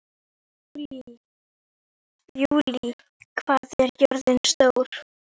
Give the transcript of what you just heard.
Júlí, hvað er jörðin stór?